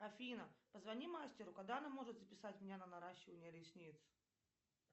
афина позвони мастеру когда она может записать меня на наращивание ресниц